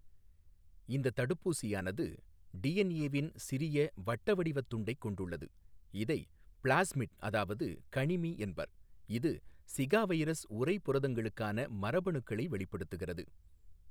இந்தத் தடுப்பூசியானது டிஎன்ஏவின் சிறிய, வட்ட வடிவத் துண்டைக் கொண்டுள்ளது இதை பிளாஸ்மிட், அதாவது கணிமி என்பர், இது ஸிகா வைரஸ் உறை புரதங்களுக்கான மரபணுக்களை வெளிப்படுத்துகிறது.